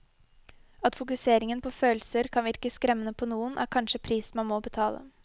At fokusering på følelser kan virke skremmende på noen, er kanskje prisen man må betale.